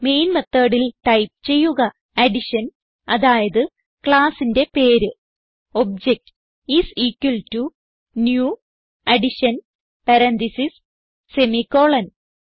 main methodൽ type ചെയ്യുക addition അതായത് classന്റെ പേര് OBJ is equal to new addition parenthesis semicolon